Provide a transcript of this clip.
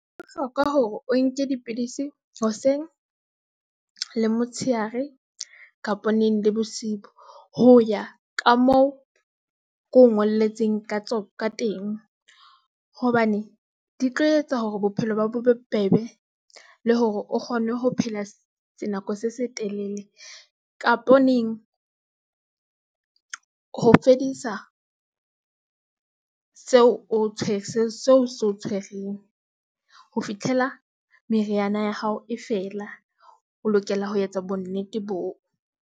Ho bohlokwa hore o nke dipidisi hoseng le motshehare kapo neng le bosiu. Ho ya ka moo ke o ngolletseng ka teng, hobane di tlo etsa hore bophelo ba hao bo be bobebe le hore o kgone ho phela nako se se telele kapo neng. Ho fedisa seo se o tshwereng ho fitlhela meriana ya hao e fela, o lokela ho etsa bo nnete boo.